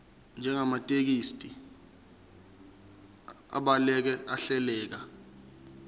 njengamathekisthi abhaleke ahleleka